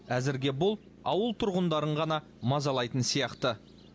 әзірге бұл ауыл тұрғындарын ғана мазалайтын сияқты